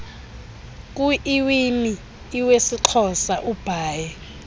kuiwimi iwesixhosa ubhaie